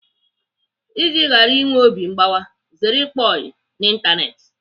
Iji ghara inwe obi mgbawa, zere ịkpa oyi n'Ịntanetị.